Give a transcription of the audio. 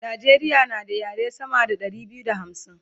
Najeriya na da yare sama da Ɗari biyu da hamsin